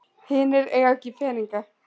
Hinir eiga ekki peninga